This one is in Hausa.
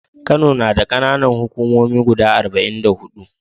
Kano nada kAna Nan hukumomi guda arba'in da hudu